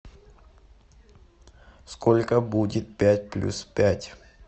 сколько будет пять плюс пять